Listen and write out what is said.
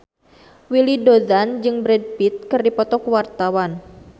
Willy Dozan jeung Brad Pitt keur dipoto ku wartawan